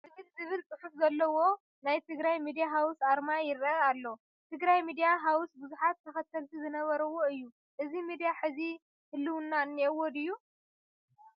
tmh ዝብል ዝብል ፅሑፍ ዘለዎ ናይ ትግራይ ሚድያ ሃውስ ኣርማ ይርአ ኣሎ፡፡ ትግራይ ሚድያ ሃውስ ብዙሓት ተኸተልቲ ዝነበርዎ እዩ፡፡ እዚ ሚድያ ሕዚ ህልውና እኔዎ ድዩ?